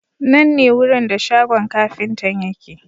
Nan ne wurin da shagon kafintan yake.